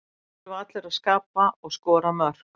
Það þurfa allir að skapa og skora mörk.